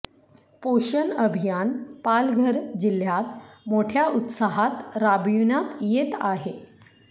पोषण अभियान पालघर जिल्ह्यात मोठ्या उत्साहात राबविण्यात येत आहे